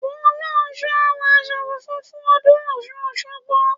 Fọlọ́runṣọ́ á wọ aṣọ funfun fún ọdún Ọ̀ṣun Òṣogbo.